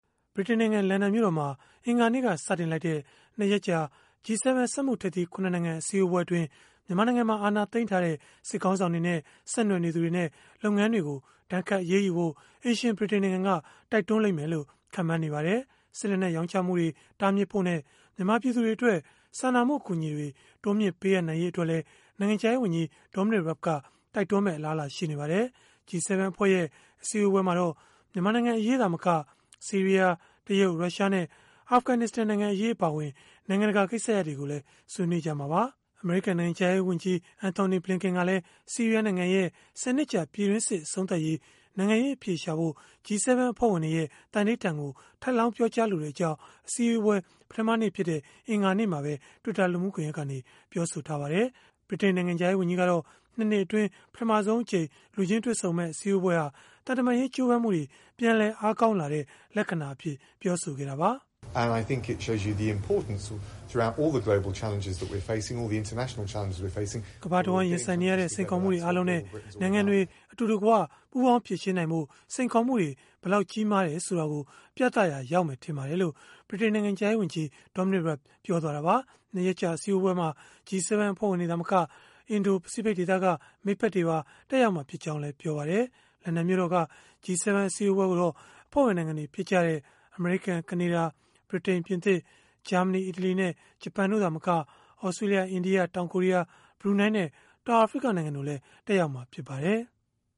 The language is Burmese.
ဗြိတိန်နိုင်ငံ လန်ဒန်မြို့တော်မှာ အင်္ဂါနေ့က စတင်လိုက်တဲ့ ၂ ရက်ကြာ (G7) စက်မှုထိပ်သီး ၇ နိုင်ငံ အစည်းအဝေးအတွင်း မြန်မာနိုင်ငံမှာ အာဏာသိမ်းထားတဲ့ စစ်ခေါင်းဆောင်တွေနဲ့ ဆက်နွယ်နေသူတွေနဲ့ လုပ်ငန်းတွေကို ဒဏ်ခတ်အရေးယူဖို့ အိမ်ရှင်ဗြိတိန်နိုင်ငံက တိုက်တွန်းလိမ့်မယ်လို့ ခန့်မှန်းနေကြပါတယ်။ စစ်လက်နက် ရောင်းချမှုတွေ တားမြစ်ဖို့နဲ့ မြန်မာပြည်သူတွေအတွက် စာနာမှု အကူအညီတွေ တိုးမြှင့်ပေးအပ်နိုင်ရေး အတွက်လည်း နိုင်ငံခြားရေးဝန်ကြီး Dominic Raab က တိုက်တွန်းမယ့် အလားအလာရှိနေပါတယ်။ G7 အဖွဲ့ရဲ့ အစည်းအဝေးမှာတော့ မြန်မာနိုင်ငံအရေး သာမက ဆီးရီးယား၊ တရုတ်၊ ရုရှားနဲ့ အာဖဂနစ္စတန် နိုင်ငံအရေး အပါအဝင် နိုင်ငံတကာ ကိစ္စရပ်တွေကိုလည်း ဆွေးနွေးကြမှာပါ။ အမေရိကန် နိုင်ငံခြားရေးဝန်ကြီး ဝန်ကြီး Antony Blinken ကတော့ ဆီးရီးယား နိုင်ငံရဲ့ ၁၀ နှစ်ကြာ ပြည်တွင်းစစ် အဆုံးသတ်ရေး နိုင်ငံရေး အဖြေရှာဖို့ G7 အဖွဲ့ဝင်တွေရဲ့ သန္နိဋ္ဌာန်ကို ထပ်လောင်းပြောကြားလိုကြောင်း အစည်းအဝေး ပထမနေ့ဖြစ်တဲ့ အင်္ဂါနေ့မှာပဲ Twitter လူမှုကွန်ရက်ကနေ ပြောဆိုထားပါတယ်။ ဗြိတိန်နိုင်ငံခြားရေးဝန်ကြီးကတော့ ၂ နှစ်အတွင်း ပထမဆုံးအကြိမ် လူချင်းတွေ့ဆုံမယ့် အစည်းအဝေးဟာ သံတမန်ရေး ကြိုးပမ်းမှုတွေ ပြန်လည်အားကောင်းလာတဲ့ လက္ခဏာအဖြစ် ပြောဆိုခဲ့တာပါ။ “ကမ္ဘာတဝန်း ရင်ဆိုင်နေရတဲ့ စိန်ခေါ်မှုတွေ အားလုံးနဲ့ နိုင်ငံတွေ အတူတကွ ပူးပေါင်းဖြေရှင်းနိုင်ဖို့ စိန်ခေါ်မှုတွေ ဘယ်လောက် ကြီးမားတယ်ဆိုတာကို ပြသရာရောက်မယ် ထင်ပါတယ်။” လို့ ဗြိတိန်နိုင်ငံခြားရေးဝန်ကြီး Dominic Raab ပြောသွားတာပါ။ ၂ ရက်ကြာ အစည်းအဝေးမှာ G7 အဖွဲ့ဝင်တွေ သာမက အင်ဒို၊ ပစိဖိတ်ဒေသက မိတ်ဖက်တွေပါ တက်ရောက်မှာ ဖြစ်ကြောင်းလည်း ပြောပါတယ်။ လန်ဒန်မြို့တော်က G7 အစည်းအဝေးကိုတော့ အဖွဲ့ဝင် နိုင်ငံတွေ ဖြစ်ကြတဲ့ အမေရိကန်၊ ကနေဒါ၊ ဗြိတိန်၊ ပြင်သစ်၊ ဂျာမနီ၊ အီတလီနဲ့ ဂျပန် တို့သာမက၊ သြစတြေးလျ၊ အိန္ဒိယ၊ တောင်ကိုရီးယား၊ ဘရူနိုင်းနဲ့ တောင်အာဖရိက နိုင်ငံတို့လည်း တက်ရောက်မှာ ဖြစ်ပါတယ်။